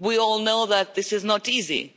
We all know that this is not easy